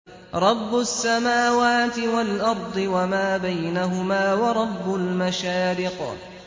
رَّبُّ السَّمَاوَاتِ وَالْأَرْضِ وَمَا بَيْنَهُمَا وَرَبُّ الْمَشَارِقِ